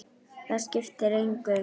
Það skiptir engu